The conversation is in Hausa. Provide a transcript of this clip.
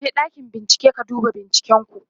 ka je ɗakin bincike ka duba binciken ku!